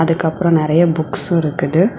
அதுக்கப்ரோ நெறைய புக்ஸ்சு இருக்குது.